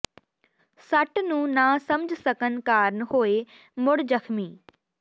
ਸੱਟ ਨੂੰ ਨਾ ਸਮਝ ਸਕਣ ਕਾਰਨ ਹੋਏ ਮੁੜ ਜ਼ਖ਼ਮੀ